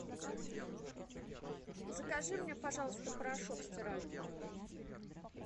закажи мне пожалуйста порошок стиральный